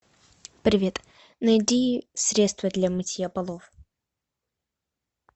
привет найди средство для мытья полов